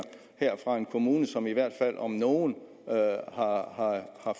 fra en kommune som i hvert fald om nogen har